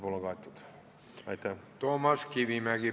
Toomas Kivimägi, palun!